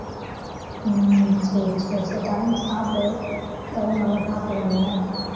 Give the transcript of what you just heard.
உம் சரி சரி சரி time க்கு சாப்பிடு உடம்பை நல்லா பாத்துக்கோங்க